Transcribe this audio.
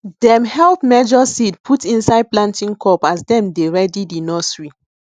dem help measure seed put inde planting cup as dem dey ready di nursery